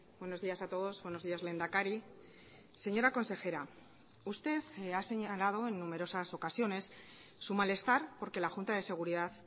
buenos días a todos buenos días lehendakari señora consejera usted ha señalado en numerosas ocasiones su malestar por que la junta de seguridad